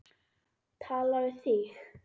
Tala við þig.